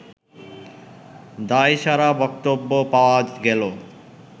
দায়সারা বক্তব্য পাওয়া গেল